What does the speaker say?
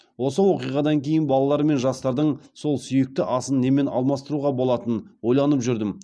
осы оқиғадан кейін балалар мен жастардың сол сүйікті асын немен алмастыруға болатынын ойланып жүрдім